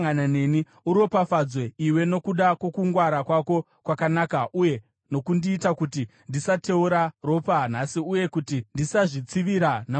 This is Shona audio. Uropafadzwe iwe nokuda kwokungwara kwako kwakanaka uye nokundiita kuti ndisateura ropa nhasi uye kuti ndisazvitsivira namaoko angu.